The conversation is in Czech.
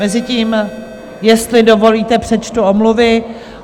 Mezitím, jestli dovolíte, přečtu omluvy.